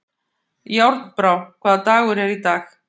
Járnbrá, hvaða dagur er í dag?